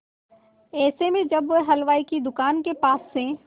ऐसे में जब वह हलवाई की दुकान के पास से